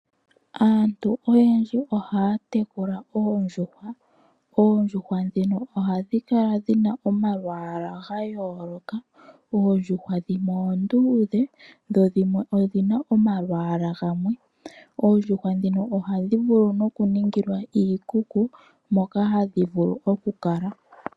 Aantu oyendji ohaa tekula oondjuhwa ,ondjuhwa dhino ohadhi kala dhina omalwaala ga yooloka ,oo.djuhwa oondudhe dho dhimwe odhina omalwaala gamwe oondjuhwa dhino ohadhi vulu oku ningilwa iikuku moka hadhi vulu okukala.